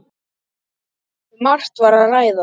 Um margt var að ræða.